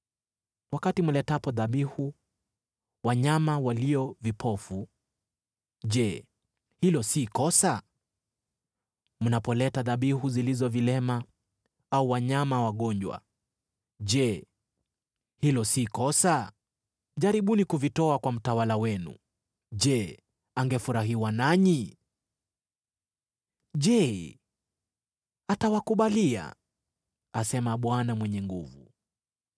Wakati mletapo dhabihu za wanyama walio vipofu, je, hilo si kosa? Mnapoleta dhabihu zilizo vilema au wanyama wagonjwa, je, hilo si kosa? Jaribuni kuvitoa kwa mtawala wenu! Je, angefurahishwa nanyi? Je, atawakubalia?” asema Bwana Mwenye Nguvu Zote.